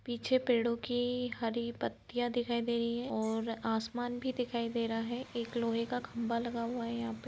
पीछे पेड़ों की हरी पत्तियां दिखाई दे रही है और आसमान भी दिखाई दे रहा है एक लोहे का खंबा लगा हुआ है यहाँ पे --